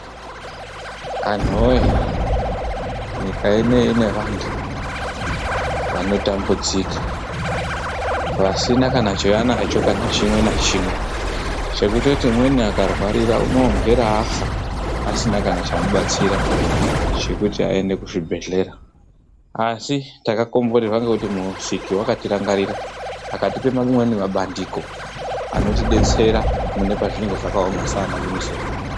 Anhu woye nyika ineyi ine vantu vanotambudzika vasina kana chavanacho chimwe nachimwe. Chekutoti umweni akarwarira unomhera afa asina kana chamubatsira chekuti aende kuzvibhendlera. Asi takakomborerwa ngekuti Musiki wakatirangarira akatipa amweni mabandiko anotidetsera mune pazvinenge zvakaoma saana UNICEF.